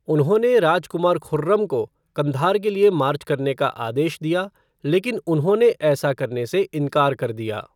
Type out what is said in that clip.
उन्होंने राजकुमार खुर्रम को कंधार के लिए मार्च करने का आदेश दिया, लेकिन उन्होंने ऐसा करने से इनकार कर दिया।